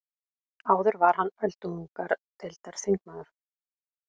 Áður var hann öldungadeildarþingmaður